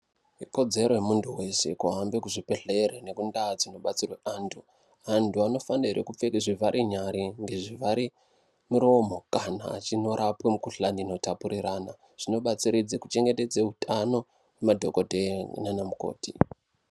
Ikodzero yemunthu weshe kuhambe kuzvibhedhlera nekundau dzinobatsirwe anthu. Anthu anofanira kupfeke zvivhare nyara nezvivhare miromo, kana achindorapwe mikhuhlani inotapuriranwa. Zvinobatsiridza kuchengetedza utano hwemadhokodheya nana mukoti.